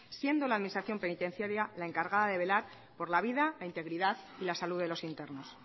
siendo la administración penitenciaria la encargada de velar por la vida la integridad y la salud de los internos